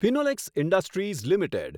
Finolex industries limited